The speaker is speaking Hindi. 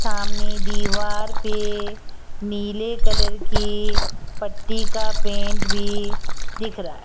सामने दीवार पे नीले कलर की पट्टी का पेंट भी दिख रहा है।